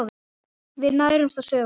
Við nærumst á sögum.